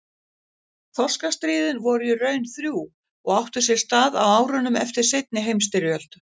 Þorskastríðin voru í raun þrjú og áttu sér stað á árunum eftir seinni heimsstyrjöld.